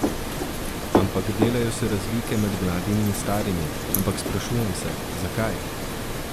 Ampak delajo se razlike med mladimi in starimi, ampak sprašujem se, zakaj?